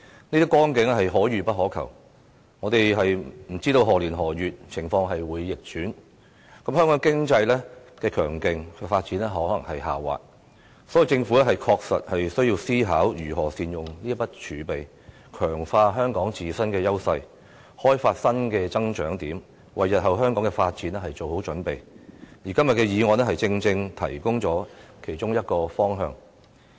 這些光景是可遇不可求，我們不知道情況在何年何月會逆轉，香港強勁的經濟發展有可能下滑，因此，政府確實需要思考如何善用這筆儲備，強化香港自身的優勢，開發新的增長點，為日後香港的發展做好準備，而今天的議案正正提供了其中一個方向。